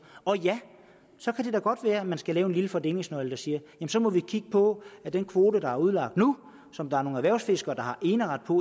og ja så kan det godt være at man skal lave en lille fordelingsnøgle der siger at så må vi kigge på den kvote der er udlagt nu som der er nogle erhvervsfiskere der har eneret på